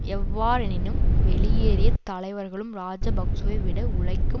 எவ்வாறெனினும் வெளியேறிய தலைவர்களும் இராஜபக்ஷவை விட உழைக்கும்